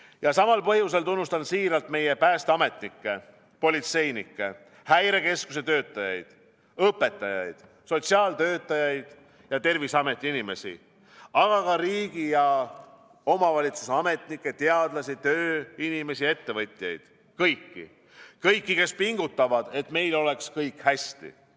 Ja samal põhjusel tunnustan siiralt meie päästeametnikke, politseinikke, Häirekeskuse töötajaid, õpetajaid, sotsiaaltöötajaid ja Terviseameti inimesi, aga ka riigi- ja omavalitsuste ametnikke, teadlasi, tööinimesi, ettevõtjaid – kõiki, kes pingutavad, et meil oleks kõik hästi.